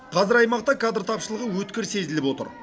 қазір аймақта кадр тапшылығы өткір сезіліп отыр